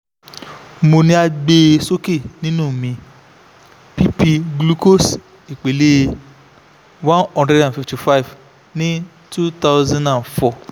mo ni a gbe soke ninu mi pp glucose ipele one hundred and fifty five ni two thousand and four